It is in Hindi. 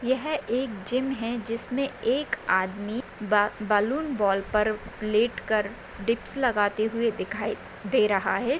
यह एक जिम है जिसमें एक आदमी बा बलून बॉल पर लेट कर डिप्स लगाते हुए दिखाई दे रहा है।